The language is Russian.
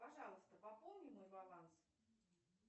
пожалуйста пополни мой баланс